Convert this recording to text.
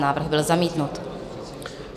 Návrh byl zamítnut.